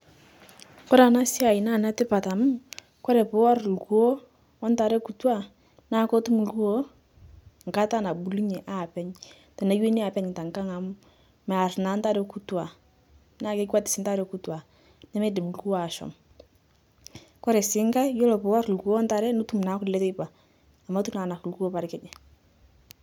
Kore ana siai naa netipat amu Kore puwor lkuo ontaree kutua naa kotum lkuo nkata nabulunyee apeny teneweni apeny tankang amuu mear naa ntaree kutua naa kekwet sii ntaree kutua nemeidim lkuobashom kore sii ng'ai kore piwor lkuo ontaree nitum naa kulee teipaa amu etuu naa enak lkuo parikijii.